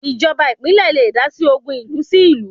Ìjọba ìpínlẹ̀ le dásí ogun ìlú sí ìlú